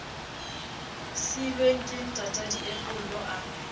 siilweng ke ntata diepollo a